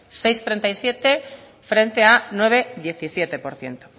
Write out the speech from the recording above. seis coma treinta y siete frente a nueve coma diecisiete por ciento